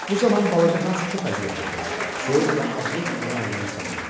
Bu zaman balaca Hans çox əziyyət çəkir, soyuq və aclıq onu əldən salırdı.